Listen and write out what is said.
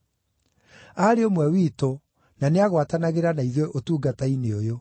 Aarĩ ũmwe witũ na nĩagwatanagĩra na ithuĩ ũtungata-inĩ ũyũ.”